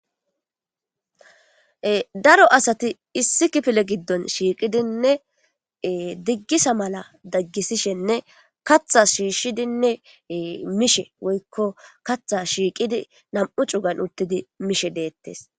daro asati issi kifile giddon shiiqidinne diggisa mala daggisishenne katha shiishshidinne mishe woykko katha shiiqidi nam7u cugan uttidi mishe deettes